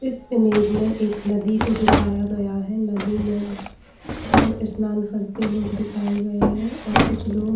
इस इमेज में एक नदी को दिखाया गया है नदी में स्नान करते कुछ तो लोग दिखाये गये हैं और कुछ लोग--